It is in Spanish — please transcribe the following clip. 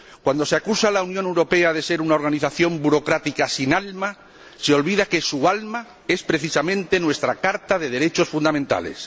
Cuando se acusa a la Unión Europea de ser una organización burocrática sin alma, se olvida que su alma es precisamente nuestra Carta de los Derechos Fundamentales.